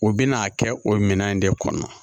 U bɛ n'a kɛ o minɛn in de kɔnɔ